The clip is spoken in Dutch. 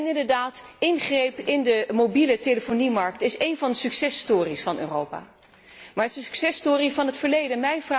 Inderdaad, ingrepen in de mobieletelefoniemarkt is een van de succes stories van Europa, maar het is een succes story van het verleden.